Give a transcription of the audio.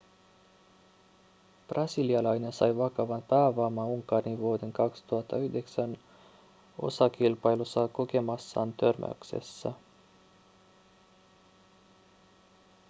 brasilialainen sai vakavan päävamman unkarin vuoden 2009 osakilpailussa kokemassaan törmäyksessä